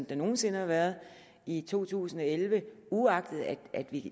der nogen sinde har været i to tusind og elleve uagtet at vi